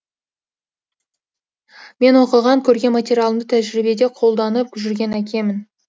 мен оқыған көрген материалымды тәжірибеде қолданып жүрген әкемін